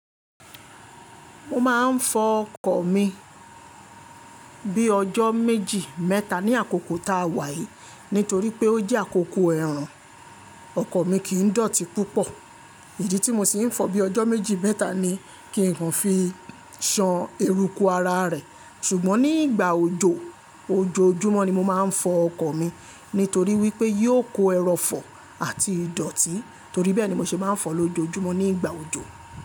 Mo máa ń fọ ọkọ̀ mi bíi ọjọ́ méjì mẹ́ta ní àkókò tá a wáyii nítorí pé ó jẹ́ àkókò ẹ̀rùn ọkọ̀ mi kì í dọ̀tí púpọ̀ idi tí mo sì ń fọ̀ bíi ọjọ́ méjì mẹ́ta ni kí n kọ́ fi ṣan eruku ara rẹ̀ ṣùgbọ́n ní ìgbà òjò ojoojúmọ́ ni mo máa ń fọ ọkọ̀ mi nítorí wípé yóò kó ẹrọ̀fọ̀ àti ìdọ̀tí torí bẹ́ẹ̀ ni mo ṣe máa ń fọ lójoójúmọ́ ní ìgbà òjò.